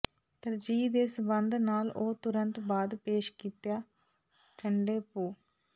ਤਰਜੀਹ ਦੇ ਸੰਬੰਧ ਨਾਲ ਉਹ ਤੁਰੰਤ ਬਾਅਦ ਪੇਸ਼ ਕੀਤਾ ਠੰਡੇ ਭੁਿੱਿ